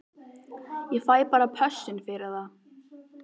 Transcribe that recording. Ég fæ bara pössun fyrir það.